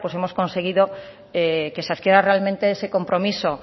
hemos conseguido que se adquiera realmente ese compromiso